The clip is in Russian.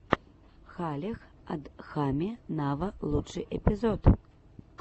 халех адхами нава лучший эпизод